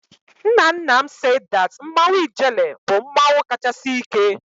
Nna nna m said that Mmanwụ Ijele bụ mmanwụ kachasị ike.